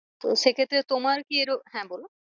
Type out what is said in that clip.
তো সে ক্ষেত্রে তোমার কি হ্যাঁ বলো।